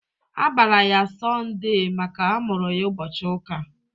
A bara ya "Sondée" makana a mụrụ ya ụbọchị uka